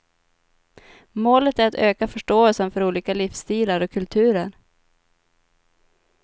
Målet är att öka förståelsen för olika livsstilar och kulturer.